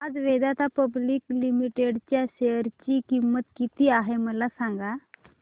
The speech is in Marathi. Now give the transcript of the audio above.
आज वेदांता पब्लिक लिमिटेड च्या शेअर ची किंमत किती आहे मला सांगा